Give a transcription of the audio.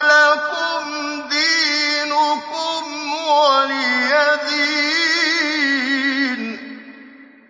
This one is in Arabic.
لَكُمْ دِينُكُمْ وَلِيَ دِينِ